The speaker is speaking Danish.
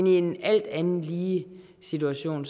i en alt andet lige situation